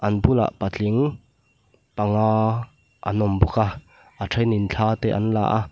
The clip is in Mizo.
bulah patling panga an awm bawk a a thenin thla te an la a.